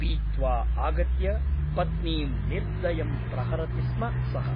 पीत्वा आगत्य पत्नीं निर्दयं प्रहरति स्म सः ।